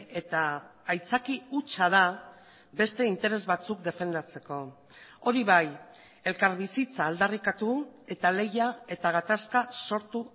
eta aitzaki hutsa da beste interes batzuk defendatzeko hori bai elkarbizitza aldarrikatu eta lehia eta gatazka sortu